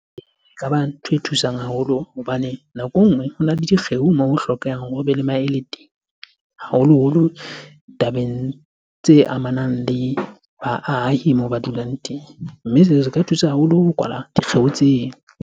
Ekaba ntho e thusang haholo hobane nako e nngwe hona le dikgeo mo ho hlokehang hore hobe le maele teng. Haholoholo ditabeng tse amanang le baahi moo ba dulang teng. Mme seo se ka thusa haholo ho kwala dikgeo tseo.